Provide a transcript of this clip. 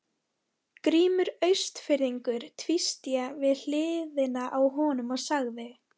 Grímur Austfirðingur tvísté við hliðina á honum og sagði